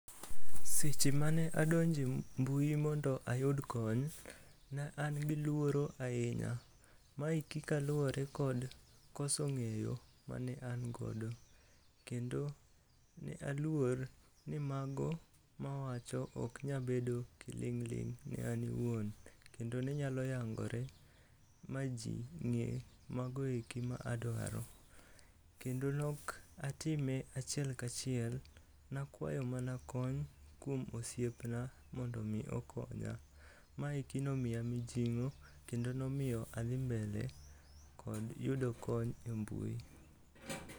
Seche mane adonjo e mbui mondo ayud kony, ne an gi luoro ahinya. Maeki kaluwore kod koso ng'eyo mane angodo. Kendo ne aluor ni mago mawacho ok nyabedo kiling'ling' ne an awuon, kendo ne nyalo yangore ma ji ng'e magoeki ma adwaro. Kendo nok atime achiel kachiel, nakwayo mana kony kuom osiepna mondo omi okonya. Maeki nomiya mijing'o kendo nomiyo adhi mbele kod yudo kony e mbui.